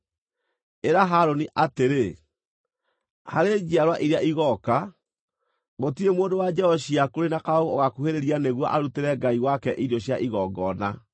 “Ĩra Harũni atĩrĩ: ‘Harĩ njiarwa iria igooka, gũtirĩ mũndũ wa njiaro ciaku ũrĩ na kaũũgũ ũgaakuhĩrĩria nĩguo arutĩre Ngai wake irio cia igongona.